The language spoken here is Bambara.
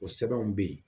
O sɛbɛnw be yen